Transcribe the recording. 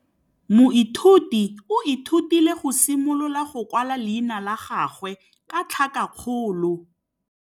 Moithuti o ithutile go simolola go kwala leina la gagwe ka tlhakakgolo.